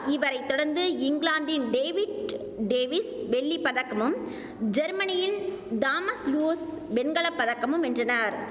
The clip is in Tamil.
இவரை தொடர்ந்து இங்கிலாந்தின் டேவிட் டேவிஸ் வெள்ளி பதக்கமும் ஜெர்மனியின் தாமஸ் லுர்ஸ் வெண்கல பதக்கமும் வென்றனர்